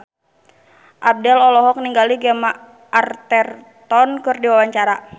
Abdel olohok ningali Gemma Arterton keur diwawancara